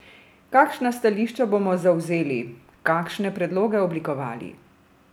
Kakšna stališča bomo zavzeli, kakšne predloge oblikovali?